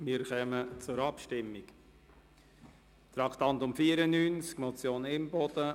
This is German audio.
Wir kommen zur Abstimmung zur Motion Imboden, Traktandum 94: